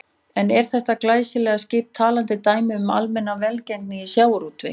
En er þetta glæsilega skip talandi dæmi um almenna velgengni í sjávarútvegi?